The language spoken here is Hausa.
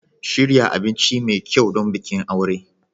Shirya abinci mai kyau don bikin aure.